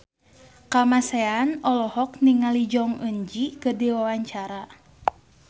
Kamasean olohok ningali Jong Eun Ji keur diwawancara